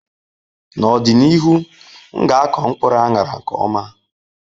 N'ọdịnihu, m ga ako mkpuru anara nke m.